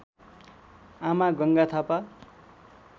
आमा गङ्गा थापा